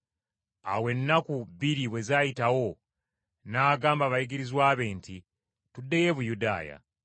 Awo ennaku bbiri bwe zaayitawo n’agamba abayigirizwa be nti, “Tuddeyo e Buyudaaya.”